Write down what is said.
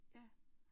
Ja